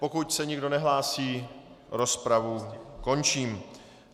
Pokud se nikdo nehlásí, rozpravu končím.